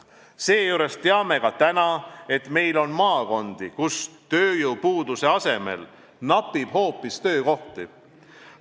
Seejuures teame ka täna, et meil on maakondi, kus tööjõupuudust pole, napib hoopis töökohti.